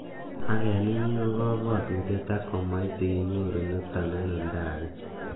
"Ak en inye ko kobwotutiet, ak komoite inyoru niton en oldage."